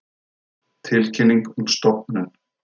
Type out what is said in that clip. Tilkynning um stofnun.